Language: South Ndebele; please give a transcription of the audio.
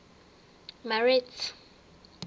marete